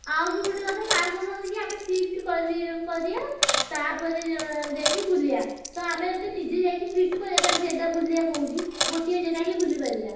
ଆଉ ବି ଗୋଟେ କଥା sir କହୁଛନ୍ତି କି ଆମେ feast କରି ~ କରିଆ ତାପରେ ଏ ~ ଯା ଯାଇକି ବୁଲିଆ ତ ଆମେ ଯଦି ନିଜେ ଯାଇକି feast କରିଆ ତାହେଲେ ଜାଗା ବୁଲିଆ କୋଉଠି ଗୋଟିଏ ଜାଗା ହିନ ବୁଲି ପାରିଆ।